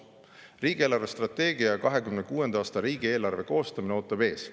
" Riigi eelarvestrateegia ja 2026. aasta riigieelarve koostamine ootab ees.